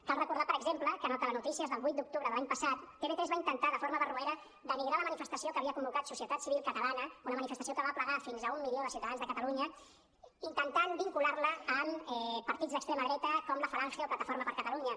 cal recordar per exemple que en el telenotícies del vuit d’octubre de l’any passat tv3 va intentar de forma barroera denigrar la manifestació que havia convocat societat civil catalana una manifestació que va aplegar fins a un milió de ciutadans de catalunya intentant vincular la amb partits d’extrema dreta com la falange o plataforma per catalunya